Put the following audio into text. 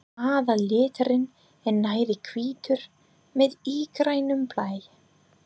Aðalliturinn er nærri hvítur með ígrænum blæ.